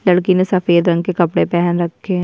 लड़की ने सफेद रंग के कपड़े पहन रखे --